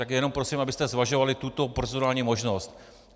Tak jenom prosím, abyste zvažovali tuto procedurální možnost.